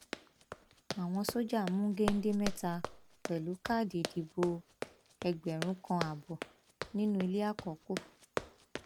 àwọn sójà mú géńdé mẹta pẹlú káàdì ìdìbò ẹgbẹrún kan ààbọ nínú ilé àkọkù